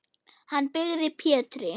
Hann byggði Pétri